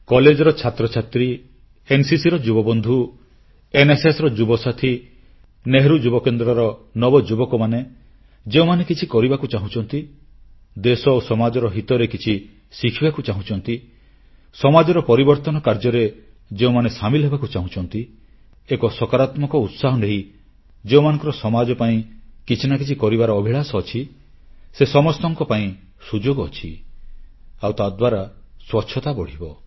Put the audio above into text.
କଲେଜର ଛାତ୍ରଛାତ୍ରୀ ଏନସିସିର ଯୁବବନ୍ଧୁ ଏନ୍ଏସ୍ଏସର ଯୁବସାଥୀ ନେହେରୁ ଯୁବକେନ୍ଦ୍ରର ନବଯୁବକମାନେ ଯେଉଁମାନେ କିଛି କରିବାକୁ ଚାହୁଁଛନ୍ତି ଦେଶ ଓ ସମାଜର ହିତରେ କିଛି ଶିଖିବାକୁ ଚାହୁଁଛନ୍ତି ସମାଜର ପରିବର୍ତ୍ତନ କାର୍ଯ୍ୟରେ ଯେଉଁମାନେ ସାମିଲ ହେବାକୁ ଚାହୁଁଛନ୍ତି ଏକ ସକାରାତ୍ମକ ଉତ୍ସାହ ନେଇ ଯେଉଁମାନଙ୍କର ସମାଜ ପାଇଁ କିଛି ନା କିଛି କରିବାର ଅଭିଳାଷ ଅଛି ସେ ସମସ୍ତଙ୍କ ପାଇଁ ସୁଯୋଗ ଅଛି ଆଉ ତାଦ୍ୱାରା ସ୍ୱଚ୍ଛତା ବଢ଼ିବ